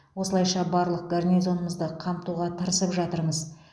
осылайша барлық гарнизонымызды қамтуға тырысып жатырмыз